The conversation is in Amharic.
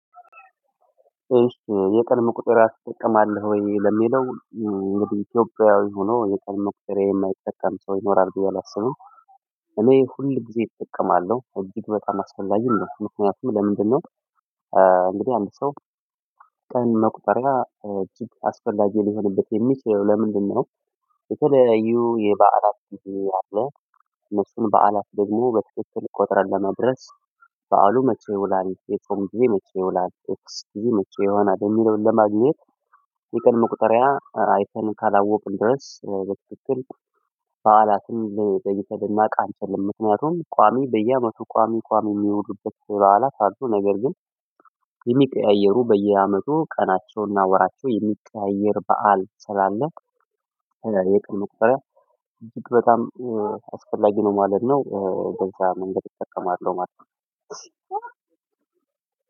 የቀድሞ ቁጥር አስጠቀማለሁ ወይ ለሚለው እንግዲህ ኢትዮጵያዊ ሆኖ የቀድሞ ቁጥሬ የማይጠቀም ሰው ይኖራል ብሎ አላስብም። እኔ ሁል ጊዜ እጠቀማለሁ እጅግ በጣም አስፈላጊ ነው። ምክንያቱም ለምንድነው? እንግዲህ አንድ ሰው ቀን መቁጠሪያ እጅግ አስፈላጊ ሊሆንበት የሚችለው ለምንድነው? የተለያዩ የበዓላፍ እሱ አለ። እነሱን በዓላፍ ደግሞ በትክክል ቆጥረን ለመድረስ። በዓሉ መቼ ይውላል የጾም ጊዜ መቼ ይውላል እክስ ጊዜ መቼ ይሆናል የሚለውን ለማግኘት። የቀድሞ መቁጠሪያ አይተን ካላወቅን ድረስ በትክክል በዓላትም የጠይተው የማውቅ አንችልም። ምክንያቱም ቋሚ በየአመቱ ቋሚ ቋሚ የሚወሉበት በኋላ ሳልቶ ነገር ግን የሚቀያየሩ በየአመቱ ቀናቸውና ወራቸው የሚቀያየር በዓል ስላለ። ይሄ ቀን መቁጠሪያ እጅግ በጣም አስፈላጊ ነው ማለት ነው። በዛ መንገድ እጠቀማለሁ ማለት ነው።